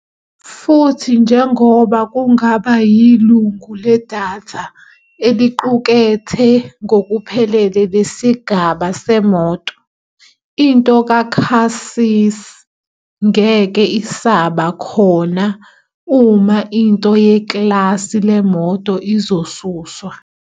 Futhi njengoba kungaba yilungu ledatha eliqukethe ngokuphelele lesigaba seMoto, into kaChassis ngeke isaba khona uma into yeklasi leCar izosuswa.